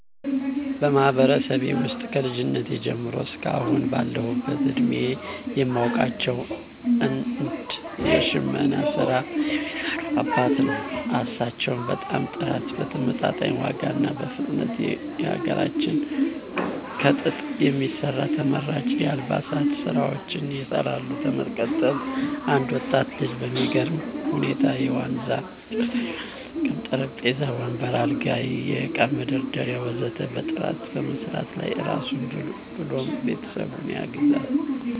በማህበረሰቤ ውስጥ ከልጅነቴ ጀምሮ እስከ አሁን ባለሁበት እድሜየ የማውቃቸው አንድ የሽመና ስራ የሚሰሩ አባትን ነው። እሳቸው በጣም በጥራት በተመጣጣኝ ዋጋ እና በፍጥነት የሀገራችንን ከጥጥ የሚሰራ ተመራጭ የአልባሳት ስራዎችን ይሰራሉ። በመቀጠል አንድ ወጣት ልጅ በሚገርም ሁኔታ የዋነዛ እንጨቶችን በመጠቀም ጠረጴዛ፣ ወንበር፣ አልጋ፣ የእቃ መደርደሪያ ወ.ዘ.ተ በጥራት በመስራት ራሱን ብሎም ቤተሰቡን ያግዛል።